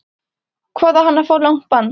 Hvað á hann að fá langt bann?